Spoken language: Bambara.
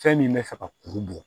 Fɛn min bɛ fɛ ka kuru bɔ